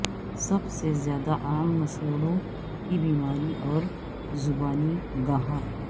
سب سے زیادہ عام مسوڑوں کی بیماری اور زبانی گہا